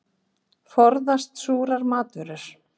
Forðast súrar matvörur.